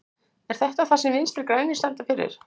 Er þetta það sem Vinstri grænir standa fyrir?